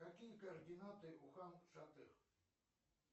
какие координаты у хан шатыр